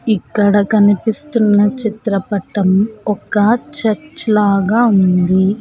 ఇక్కడ కనిపిస్తున్న చిత్రపటం ఒక చర్చ్ లాగా ఉంది.